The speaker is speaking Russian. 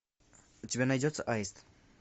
у тебя найдется аист